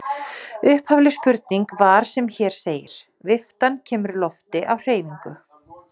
Upphafleg spurning var sem hér segir: Viftan kemur lofti á hreyfingu.